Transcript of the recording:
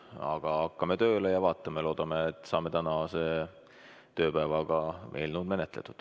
Aga hakkame tööle ja vaatame, loodame, et saame tänase tööpäevaga eelnõu menetletud.